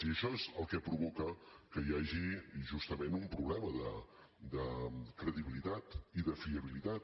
i això és el que provoca que hi hagi justament un problema de credibilitat i de fiabilitat